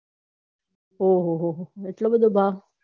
ઊહોહો એટલો બધો ભાવ